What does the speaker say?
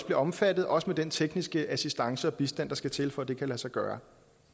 omfattet også med den tekniske assistance og bistand der skal til for at det kan lade sig gøre